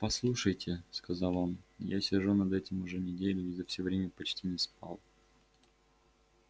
послушайте сказал он я сижу над этим уже неделю и за всё время почти не спал